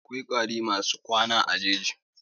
Akwai ƙwari masu rayuwa a jeji.